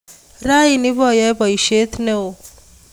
Raini ipoyoe poisyet ne oo